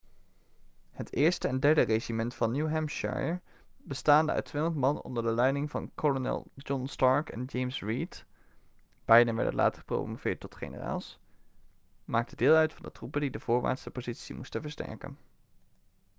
het eerste en derde regiment van new hampshire bestaande uit 200 man onder de leiding van kolonel john stark en james reed beiden werden later gepromoveerd tot generaals maakte deel uit van de troepen die de voorwaartse positie moesten versterken